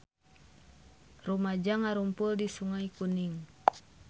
Rumaja ngarumpul di Sungai Kuning